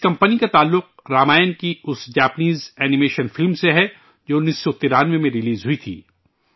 اس company کا تعلق رامائن کی اس جاپانی اینی میشن فلم سے ہے، جو 1993 میں ریلیز ہوئی تھی